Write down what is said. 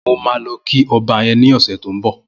Mó mà lọ kí ọ̀bà yèn ni ọsẹ tó n bọ